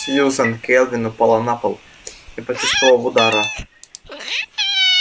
сьюзен кэлвин упала на пол не почувствовав удара